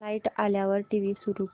light आल्यावर TV सुरू कर